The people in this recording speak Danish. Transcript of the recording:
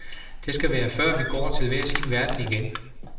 Det skal være før, vi går til hver sin verden igen.